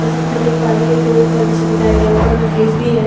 जैसे की मैं देख पा रही हूँ एक रोड का दृश्य दिखाया गया ऊपर में ब्रिज भी है एक गाड़ी चल --